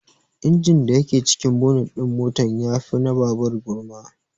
Injin da yake cikin bonet din motan ya fi na babur gurma